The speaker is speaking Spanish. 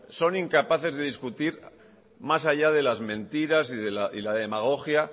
son incapaces de discutir más allá de las mentiras y la demagogia